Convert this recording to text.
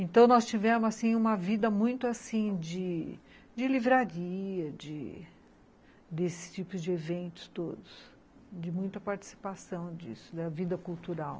Então, nós tivemos uma vida muito de de livraria, desses tipos de eventos todos, de muita participação disso, da vida cultural.